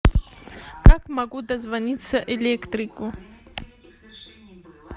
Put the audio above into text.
как могу дозвониться электрику